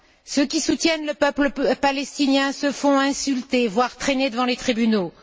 Ceux qui soutiennent le peuple palestinien se font insulter, voire traîner devant les tribunaux.